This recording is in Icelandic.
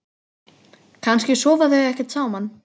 Kannski sofa þau ekkert saman?